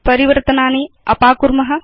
परिवर्तनानि अपाकुर्म